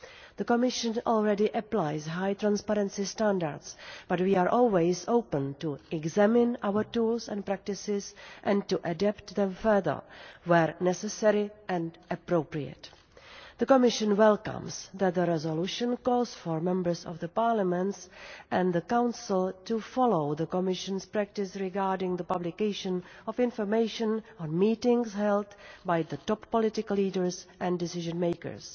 The Commission already applies high transparency standards, but we are always open to examining our tools and practices and to adapting them further where necessary and appropriate. The Commission welcomes that the resolution calls for Members of the Parliament and the Council to follow the Commission's practice regarding the publication of information on meetings held by top political leaders and decision makers.